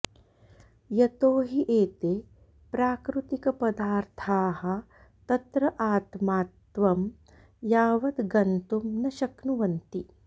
यतो हि एते प्राकृतिकपदार्थाः तत्र आत्मात्त्वं यावद् गन्तुं न शक्नुवन्ति